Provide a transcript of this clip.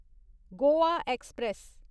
Goa express